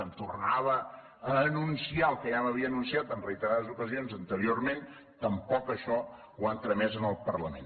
em tornava a anunciar el que ja m’havia anunciat en reiterades ocasions anteriorment tampoc això ho han tramès al parlament